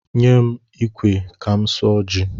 Nye m ikwe ka m suọ ji!